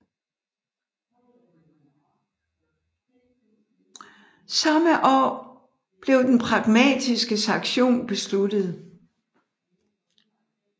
Samme år blev den Pragmatiske Sanktion besluttet